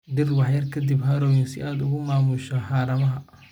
Dhir wax yar ka dib harrowing si aad u maamusho haramaha.